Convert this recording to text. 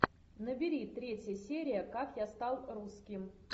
набери третья серия как я стал русским